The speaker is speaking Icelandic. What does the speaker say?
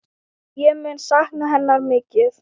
Ég mun sakna hennar mikið.